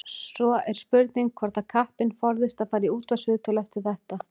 Svo er spurning hvort að kappinn forðist að fara í útvarpsviðtöl eftir þetta.